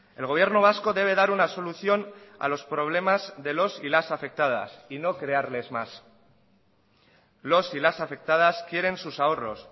el gobierno vasco debe dar una solución a los problemas de los y las afectadas y no crearles más los y las afectadas quieren sus ahorros